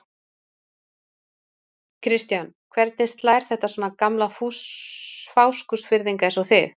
Kristján: Hvernig slær þetta svona gamla Fáskrúðsfirðinga eins og þig?